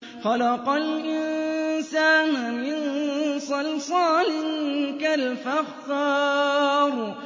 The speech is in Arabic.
خَلَقَ الْإِنسَانَ مِن صَلْصَالٍ كَالْفَخَّارِ